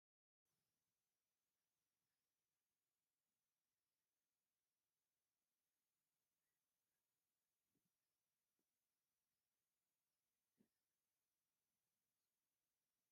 ኣብ ቅድሚት ዓቢይ ጻዕዳ ብዙሕ ደርቢ ዘለዎ ህንጻ ኣሎ። ኣብኡ ሰማያውን ጻዕዳን "ባጅ" ደው ኢላ ትረአ፣ እዚ ከባቢ እዚ ክሳብ ክንደይ ጽዑቕ ይመስል?